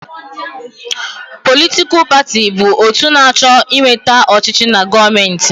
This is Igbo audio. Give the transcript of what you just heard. Politikal paatị bụ otu na-achọ ịnweta ọchịchị na gọọmenti.